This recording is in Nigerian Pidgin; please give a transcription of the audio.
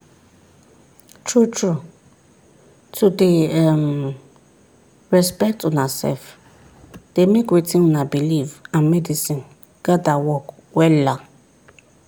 true trueto dey um respect una sef dey make wetin una believe and medicine gather work wella.